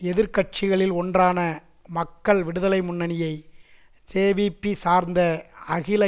எதிர் கட்சிகளில் ஒன்றான மக்கள் விடுதலை முன்னணியை ஜேவிபி சார்ந்த அகில